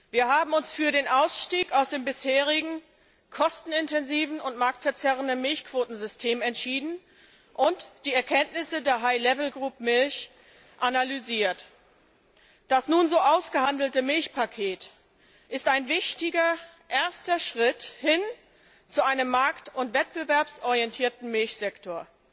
Wir haben uns für den Ausstieg aus dem bisherigen kostenintensiven und marktverzerrenden Milchquotensystem entschieden und die Erkenntnisse der für Milch analysiert. Das nun so ausgehandelte Milchpaket ist ein wichtiger erster Schritt hin zu einem markt und wettbewerborientierten Milchsektor.